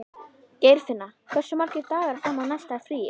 Geirfinna, hversu margir dagar fram að næsta fríi?